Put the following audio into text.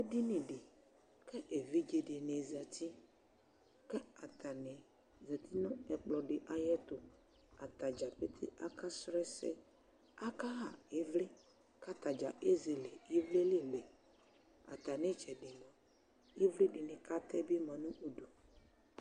edinidɩ kʊ evidzedɩnɩ zati, atanɩ zati nʊ ɛkplɔ dɩ ay'ɛtʊ, atadza pete aka sʊ ɛsɛ, akaɣa ɩvlɩ, kʊ atadza ezele ɩvlɩ li lɛ, atamitsɛdɩ mua, ɩvlɩ dɩnɩ kʊ atɛ bɩ ma nʊ udu